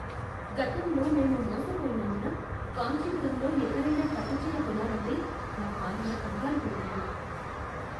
గతంలో మేము మోసపోయినందున కాంచీపురంలో ఎక్కడైనా పట్టు చీర కొనాలంటే నా భార్య కంగారుపడుతుంది.